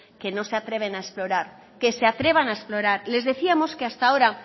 que no se atreven a explorar que se atrevan a explorar les decíamos que hasta ahora